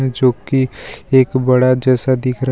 जो की एक बड़ा जैसा दिख रहा है।